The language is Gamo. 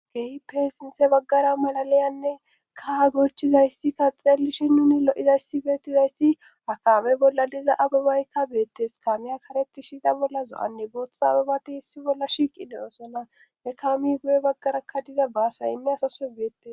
geyi peesinthe baggara malalayanne kaha gocchizayssi kaxxelishi nuni lo7izayssi beettizayssi akaame bolla diza abibaykka beettes kaamiya karetishiza bolla zo7anne bootha abibati hissi bolla shiiqi deyosona e kaami guye baggarakka diza baasayinne asase geyettes